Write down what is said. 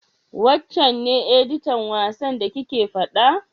Wancen ne editan wasan da kike faɗa?